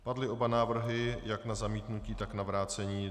Padly oba návrhy, jak na zamítnutí, tak na vrácení.